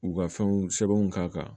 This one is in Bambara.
U ka fɛnw sɛbɛnw k'a kan